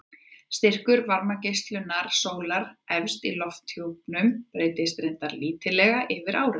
Styrkur varmageislunar sólar efst í lofthjúpnum breytist reyndar lítillega yfir árið.